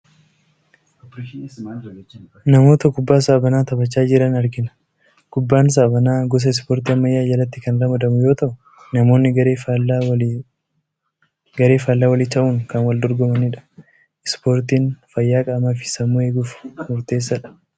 Namoota kubbaa saaphanaa taphachaa jiran argina. Kubbaan saaphanaa gosa Ispoortii ammayyaa jalatti kan ramadamu yoo ta’u namoonni garee faallaa walii ta’uun kan wal dorgomanidha. Ispoortiin fayyaa qaamaa fi sammuu eeguuf murteessaadha.